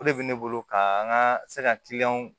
O de bɛ ne bolo ka an ka se ka kiliyanw